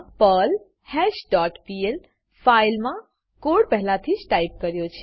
મા perl hash dot PL file મા code પહેલા થીજ ટાઈપ કર્યો છે